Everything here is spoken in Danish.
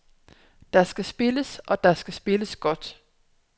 Der skal spilles, og der skal spilles godt.